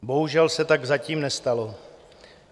Bohužel se tak zatím nestalo.